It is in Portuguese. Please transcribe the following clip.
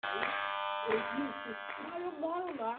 Aí, ele disse, não, eu moro lá.